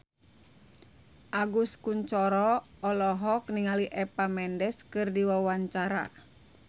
Agus Kuncoro olohok ningali Eva Mendes keur diwawancara